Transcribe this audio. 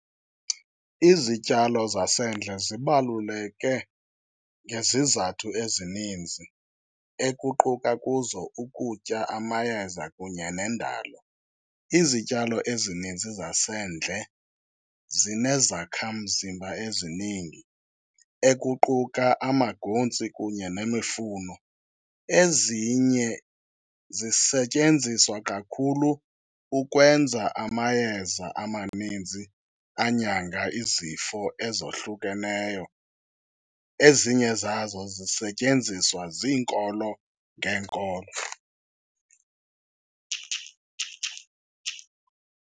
Izityalo zasendle zibaluleke ngezizathu ezininzi ekuquka kuzo ukutya, amayeza kunye neendalo. Izityalo ezininzi zasendle zinezakha mzimba eziningi ekuquka amaguntsi kunye nemifuno. Ezinye zisetyenziswa kakhulu ukwenza amayeza amanintsi anyanga izifo ezohlukeneyo. Ezinye zazo zisetyenziswa ziinkolo ngeenkolo.